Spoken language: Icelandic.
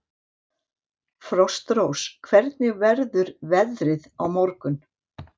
Frostrós, hvernig verður veðrið á morgun?